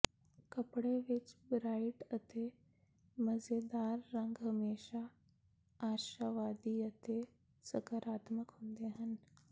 ਕੱਪੜੇ ਵਿੱਚ ਬ੍ਰਾਇਟ ਅਤੇ ਮਜ਼ੇਦਾਰ ਰੰਗ ਹਮੇਸ਼ਾ ਆਸ਼ਾਵਾਦੀ ਅਤੇ ਸਕਾਰਾਤਮਕ ਹੁੰਦੇ ਹਨ